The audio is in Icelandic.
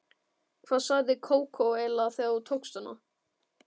Hvað sagði Kókó eiginlega þegar þú tókst hana?